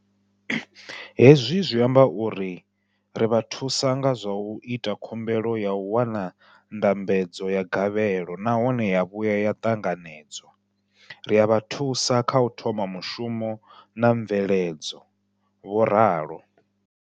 Hezwi zwi amba uri ri vha thusa nga zwa u ita khumbelo ya u wana ndambedzo ya gavhelo nahone ya vhuya ya ṱanganedzwa, ri a vha thusa kha u thoma mushumo na mveledzo, vho ralo.